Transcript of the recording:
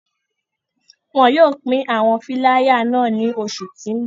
Wọn yóò pin awọn filaya nàa ni oṣu ti n bọ